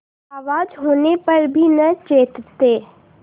आवाज होने पर भी न चेतते